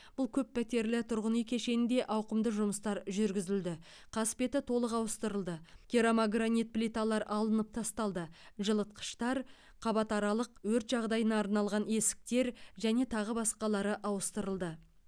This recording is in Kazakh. бұл көппәтерлі тұрғын үй кешенінде ауқымды жұмыстар жүргізілді қасбеті толық ауыстырылды керамогранит плиталар алынып тасталды жылытқыштар қабатаралық өрт жағдайына арналған есіктер және тағы басқалары ауыстырылды